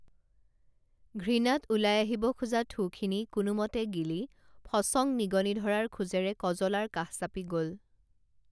ঘৃণাত ওলাই আহিব খোজা থু খিনি কোনোমতে গিলি ফচং নিগনি ধৰাৰ খোজেৰে কজলাৰ কাষ চাপি গল